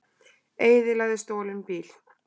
Eyðilagði stolinn bíl